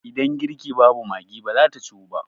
Idan girki babu Maggi ba za ta Ciwu ba.